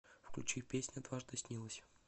включи песня дважды снилась